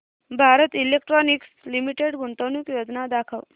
Bharat electronics limited गुंतवणूक योजना दाखव